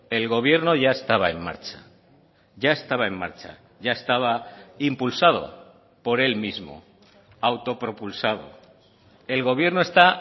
el gobierno ya estaba en marcha ya estaba en marcha ya estaba impulsado por él mismo autopropulsado el gobierno está